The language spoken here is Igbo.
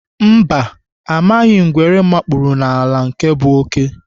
Mba, amaghị ngwere mkpụrụ n'ala nke bụ oké.